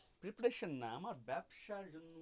preparation না আমার ব্যাবসায় জন্য.